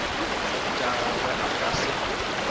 tša gagwe a ka se